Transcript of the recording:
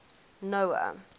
noah